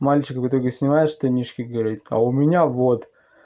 мальчик в итоге снимает штанишки говорит а у меня вот